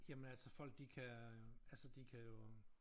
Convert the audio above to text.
Jamen altså folk de kan altså de kan jo